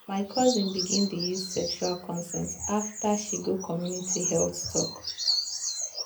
my cousin begin dey use sexual consent after she go community health talk.